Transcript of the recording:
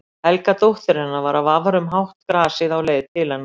Helga dóttir hennar var að vafra um hátt grasið á leið til hennar.